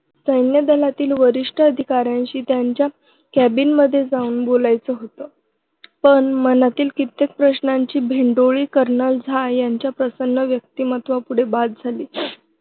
सैन्यदलातील वरिष्ठ अधिकाऱ्यांशी त्यांच्या केबिनमध्येजाऊन बोलायचं होतं. पण मनातील कित्येक प्रश्नांची भेंडोळी kernel झा. यांच्या प्रसन्न व्यक्तिमत्त्वापुढे बाद झाली.